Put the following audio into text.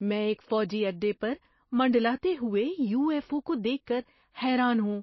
میں ایک فوجی اڈے پر منڈلاتے ہوئے یو ایف او کو دیکھ کر حیران ہوں۔